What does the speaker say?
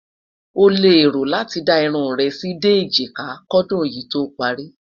ọ leè rò láti dá irún rè sí dé ejika kò dùn yí tó pari